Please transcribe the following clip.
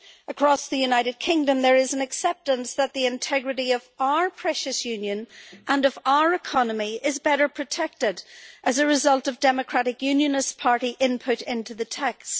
Across the United Kingdom there is an acceptance that the integrity of our precious union and of our economy is better protected as a result of Democratic Unionist Party input into the text.